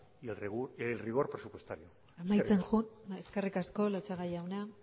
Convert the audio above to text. y el rigor presupuestario amaitzen joan bai eskerrik asko latxaga jauna